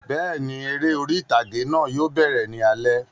Bẹ́ẹ̀ni, eré orí ìtàgé náà yóò bẹ̀rẹ̀ ní alẹ́